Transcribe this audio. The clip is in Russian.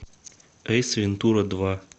эйс вентура два